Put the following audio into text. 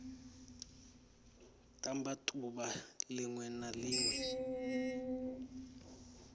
ṱamba ḓuvha ḽiṅwe na ḽiṅwe